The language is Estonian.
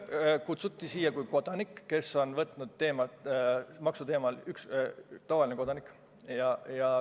Mind kutsuti siia rääkima kui tavalist kodanikku, kes on maksuteemal sõna võtnud.